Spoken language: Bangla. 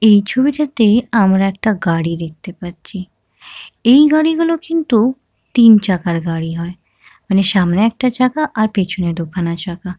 এই ছবিটাতে আমরা একটা গাড়ি দেখতে পাচ্ছি এই গাড়িগুলো কিন্তু তিনচাকার গাড়ি হয় মানে সামনে একটা চাকা আর পিছনে দুখানা চাকা।